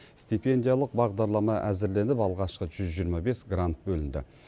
стипендиялық бағдарлама әзірленіп алғашқы жүз жиырма бес грант бөлінді